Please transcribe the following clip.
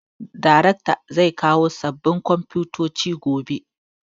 Darekta zai kawo sabin komfutocin gobe